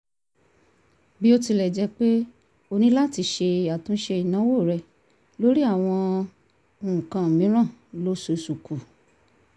bí ó tilẹ̀ jẹ́ pé ó ní láti ṣe àtúnṣe ìnáwó rẹ̀ lórí àwọn nǹkan mìíràn lóṣooṣù kù